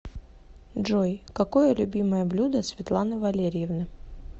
джой какое любимое блюдо светланы валерьевны